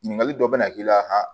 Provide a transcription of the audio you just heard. Ɲininkali dɔ bɛna k'i la